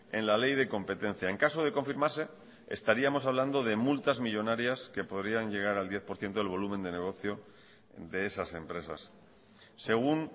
en la ley de competencia en caso de confirmarse estaríamos hablando de multas millónarias que podrían llegar al diez por ciento del volumen de negocio de esas empresas según